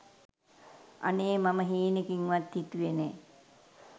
අනේ මම හීනකින්වත් හිතුවේ නෑ